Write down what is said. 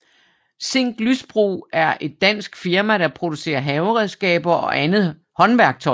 Zinck Lysbro er et dansk firma der producerer haveredskaber og andet håndværktøj